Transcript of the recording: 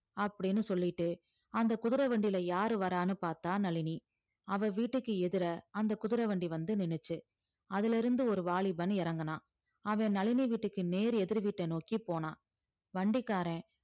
அப்படின்னு சொல்லிட்டு அந்த குதிரை வண்டியில யாரு வர்றான்னு பார்த்தா நளினி அவ வீட்டுக்கு எதிர அந்த குதிரை வண்டி வந்து நின்னுச்சு அதிலிருந்து ஒரு வாலிபன் இறங்கினா அவன் நளினி வீட்டுக்கு நேர் எதிர் வீட்டை நோக்கிப் போனான் வண்டிக்காரன்